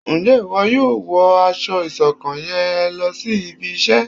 Nje ìwo yóò wọ aṣọ ìṣọ̀kan yén lòsí ibí iṣẹ?